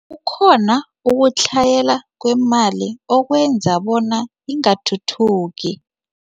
Kukhona ukutlhayela kwemali okwenza bona ingathuthuki.